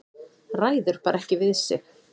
Ræður bara ekki við sig.